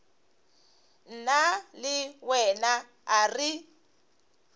nna le wena a re